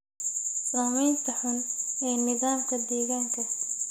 Saamaynta xun ee nidaamka deegaanka.